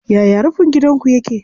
Yaya rufin gidanku yake?